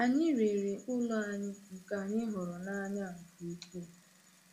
Anyị rere ụlọ anyị nke anyị hụrụ n’anya nke ukwuu.